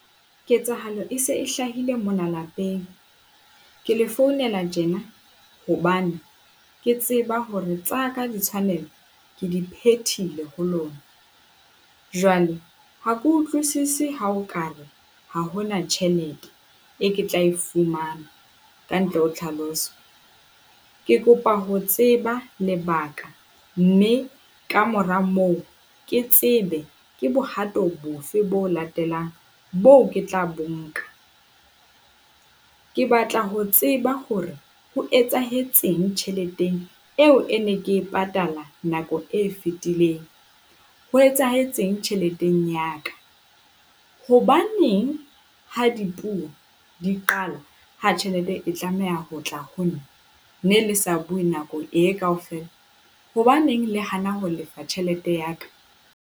Ketsahalo e se e hlahile mona lapeng. Ke le founela tjena hobane, ke tseba hore tsa ka ditshwanelo ke di phethile ho lona. Jwale ha ke utlwisise ha o ka re ha hona tjhelete e ke tla e fumana kantle ho tlhaloso. Ke kopa ho tseba lebaka, mme ka mora moo ke tsebe ke bohato bofe bo latelang boo ke tla bo nka. Ke batla ho tseba hore ho etsahetseng tjheleteng eo e ne ke e patala nako e fetileng. Ho etsahetseng tjheleteng ya ka? Hobaneng ha dipuo di qala ha tjhelete e tlameha ho tla ho nna, ne le sa bue nako e kaofela? Hobaneng le hana ho lefa tjhelete ya ka?